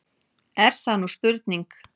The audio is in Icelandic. Er það nú spurning!